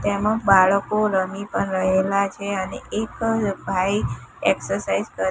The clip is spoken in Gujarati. તેમા બાળકો રમી પણ રહેલા છે અને એક ભાઈ એક્સરસાઇઝ કર--